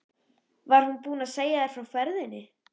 Var hún búin að segja þér frá ferðinni?